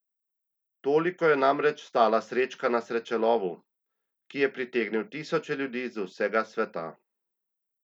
Toliko je namreč stala srečka na srečelovu, ki je pritegnil tisoče ljudi z vsega sveta.